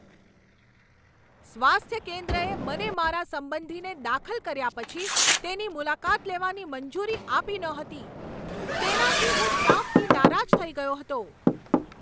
સ્વાસ્થ્ય કેન્દ્રએ મને મારા સંબંધીને દાખલ કર્યા પછી તેની મુલાકાત લેવાની મંજૂરી આપી નહોતી. તેનાથી હું સ્ટાફથી નારાજ થઈ ગયો હતો.